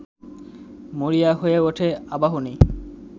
মরিয়া হয়ে ওঠে আবাহনী